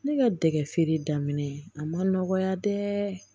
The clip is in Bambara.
Ne ka dɛgɛ feere daminɛ a ma nɔgɔya dɛ